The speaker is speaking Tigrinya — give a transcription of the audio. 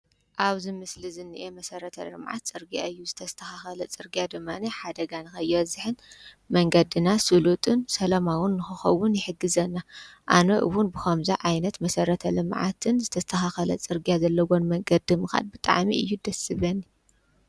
ኣብዚ ምስሊ ዝኒሀ መሰረተ-ልምዓት ፅርግያ እዩ፡፡ ዝተስተኻኸለ ፅርግያ ድማ ሓደጋ ንኸይበዝሕን መንገድና ስሉጥን ሰላማውን ንኽኸውን ይሕግዘና፡፡ ኣነ እውን ብኸምዚ ዓይነት መሰረተ-ልምዓትን ዝተስተኻኸለ ፅርግያ ዘለዎ መንገዲ ምኻድ ብጣዕሚ እዩ ደስ ዝብለኒ፡፡